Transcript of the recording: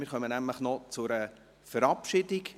Wir kommen noch zu einer Verabschiedung.